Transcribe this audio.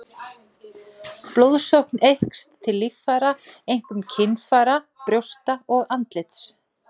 Blóðsókn eykst til líffæra, einkum kynfæra, brjósta og andlits.